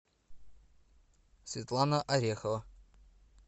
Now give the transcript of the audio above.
светлана орехова